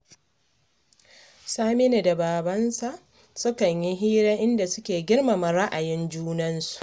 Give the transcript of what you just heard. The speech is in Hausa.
Saminu da babansa sukan yi hira, inda suke girmama ra'ayin junansu